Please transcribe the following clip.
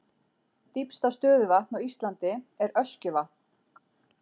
Dýpsta stöðuvatn á Íslandi er Öskjuvatn.